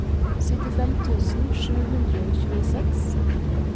syttifem tusen sju hundre og tjueseks